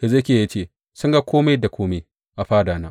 Hezekiya ya ce, Sun ga kome da kome a fadana.